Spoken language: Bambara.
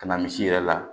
Ka na misi yɛrɛ la